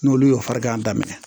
N'olu y'o farigan daminɛ